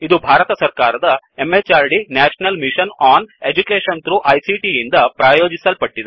ಇದು ಭಾರತ ಸರಕಾರದ MHRD national mission on education through ICT ಯಿಂದ ಪ್ರಾಯೋಜಿಸಲ್ಪಟ್ಟಿದೆ